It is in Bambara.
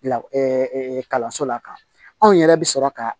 La kalanso la ka anw yɛrɛ bɛ sɔrɔ ka